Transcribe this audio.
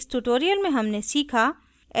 इस tutorial में हमने सीखा